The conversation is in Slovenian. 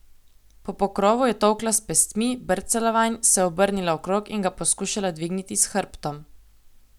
Po pokrovu je tolkla s pestmi, brcala vanj, se obrnila okrog in ga poskušala dvigniti s hrbtom.